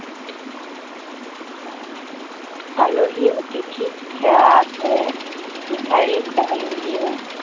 আলহী অতিথিক সেৱা কৰে। ভিক্ষাৰীক দান দিয়ে।